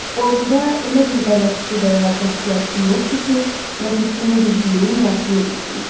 Orduda elə bir bələdçi və ya kəşfiyyatçı yoxdur ki, ləpirçinin bildiyinin yarısını bilsin.